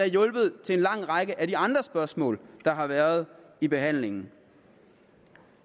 hjulpet til en lang række af de andre spørgsmål der har været i behandlingen